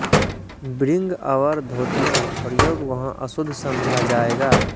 bring our धोतियाँ प्रयोग वहाँ अशुद्ध समझा जाएगा